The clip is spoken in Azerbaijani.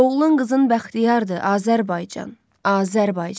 Oğlun, qızın bəxtiyardır, Azərbaycan, Azərbaycan.